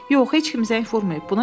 Yox, heç kim zəng vurmayıb.